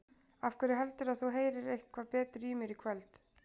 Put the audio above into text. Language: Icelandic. Af hverju heldurðu að þú heyrir eitthvað betur í mér í kvöld?